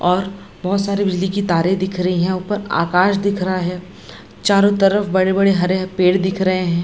और बहुत सारे बिजली की तारे दिख रही हैं ऊपर आकाश दिख रहा है चारों तरफ बड़े-बड़े हरे पेड़ दिख रहे हैं।